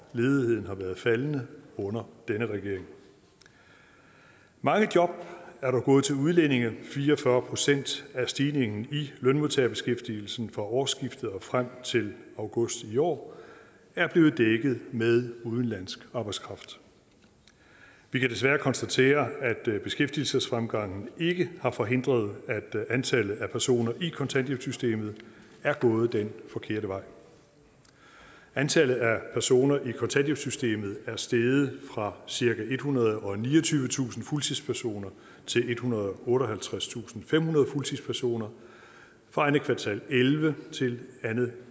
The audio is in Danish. ledigheden har været faldende under denne regering mange job er gået til udlændinge fire og fyrre procent af stigningen i lønmodtagerbeskæftigelsen fra årsskiftet og frem til august i år er blevet dækket med udenlandsk arbejdskraft vi kan desværre konstatere at beskæftigelsesfremgangen ikke har forhindret at antallet af personer i kontanthjælpssystemet er gået den forkerte vej antallet af personer i kontanthjælpssystemet er steget fra cirka ethundrede og niogtyvetusind fuldtidspersoner til ethundrede og otteoghalvtredstusindfemhundrede fuldtidspersoner fra andet kvartal og elleve til andet